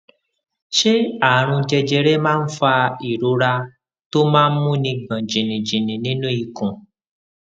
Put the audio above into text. ṣé àrùn jẹjẹrẹ máa ń fa ìrora tó máa ń múni gbòn jìnnìjìnnì nínú ikùn